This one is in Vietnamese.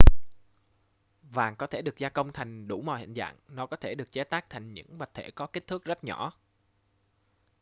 vàng có thể được gia công thành đủ mọi hình dạng nó có thể được chế tác thành những vật thể có kích thước rất nhỏ